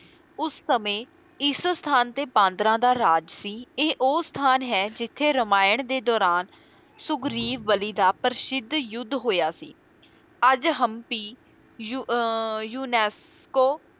ਉਸ ਸਮੇਂ ਇਸ ਸਥਾਨ ਤੇ ਬਾਂਦਰਾਂ ਦਾ ਰਾਜ ਸੀ, ਇਹ ਉਹ ਸਥਾਨ ਹੈ ਜਿੱਥੇ ਰਮਾਇਣ ਦੇ ਦੌਰਾਨ ਸੁਗਰੀਵ ਬਲੀ ਦਾ ਪ੍ਰਸਿੱਧ ਯੁੱਧ ਹੋਇਆ ਸੀ, ਅੱਜ ਹਮਪੀ ਯੂ ਅਹ unesco